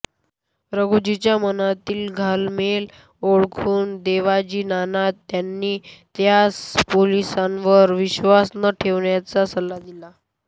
राघुजीच्या मनातील घालमेल ओळखून देवजी नाना यांनी त्यास पोलिसांवर विश्वास न ठेवण्याचा सल्ला दिला